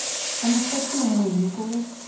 анастасию мыльникову